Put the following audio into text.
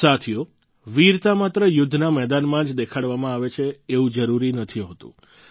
સાથીઓ વીરતા માત્ર યુદ્ધના મેદાનમાં જ દેખાડવામાં આવે એવું જરૂરી નથી હોતું